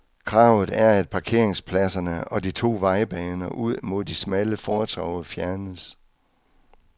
Kravet er, at parkeringspladserne og de to vejbaner ud mod de smalle fortove fjernes.